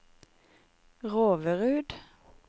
Roverud